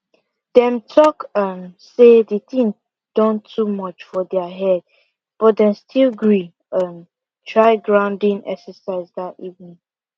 dem talk um say the thing don too much for their head but dem still gree um try grounding exercise that evening